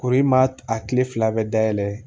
Koro i ma a tile fila bɛɛ dayɛlɛ